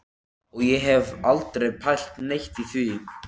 Og ég hef aldrei pælt neitt í því.